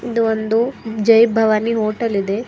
ಇದು ಒಂದು ಜೈ ಭವಾನಿ ಹೋಟೆಲ್ ಇದೆ.